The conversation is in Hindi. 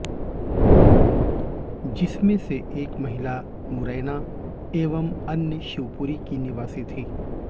जिसमें से एक महिला मुरैना एवं अन्य शिवपुरी की निवासी थी